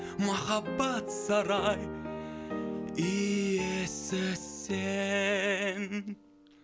махаббат сарай иесі сен